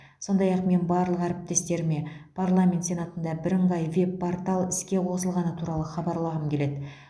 сондай ақ мен барлық әріптестеріме парламент сенатында бірыңғай веб портал іске қосылғаны туралы хабарлағым келеді